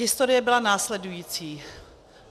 Historie byla následující.